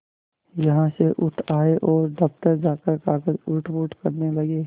यहाँ से उठ आये और दफ्तर जाकर कागज उलटपलट करने लगे